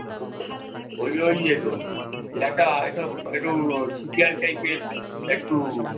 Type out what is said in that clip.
ওই ওই ইয়ে গো কি একটা একটা একটু ছিপিয়াল type এর একটু